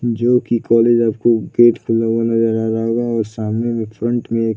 जो की कॉलेज आपको गेट खुला हुआ नज़र आ रहा होगा और सामने में फ्रंट में एक --